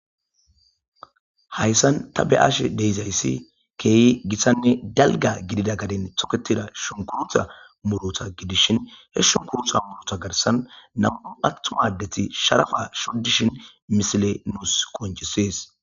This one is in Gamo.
hayssan ta be7ashe d'izayssi keehi gittanne dalga gidida gadin toketida shonkurutta murota gidishin he shunkuruta murota garsan nam''u attuma adeti sharaffa shoddishin misileyi nuus qoncisees.